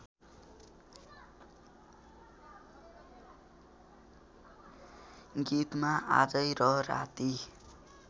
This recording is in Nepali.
गीतमा आजै र राति